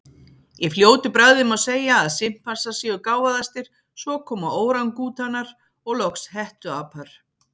Í fljótu bragði má segja að simpansar séu gáfaðastir, svo koma órangútanar, og loks hettuapar.